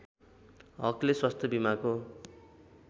हकले स्वास्थ्य बीमाको